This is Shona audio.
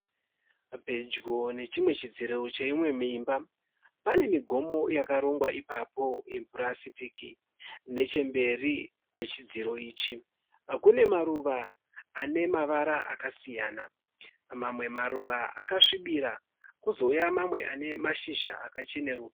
Pedyo nechidziro cheimwe imba pane migomo yakarongwa ipapo yepurasitiki. Nechemberi kwechidziro ichi kune maruva ane amavara akasiyana. Mamwe maruva akasvibira kozouya mamwe ane mashizha akacheruka.